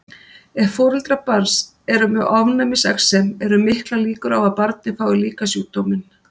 Ef foreldrar barns eru með ofnæmisexem eru miklar líkur á að barnið fái líka sjúkdóminn.